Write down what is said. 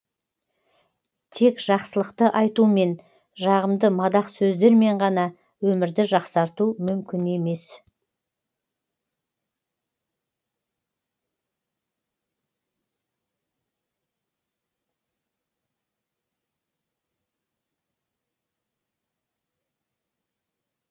тек жақсылықты айтумен жағымды мадақ сөздермен ғана өмірді жақсарту мүмкін емес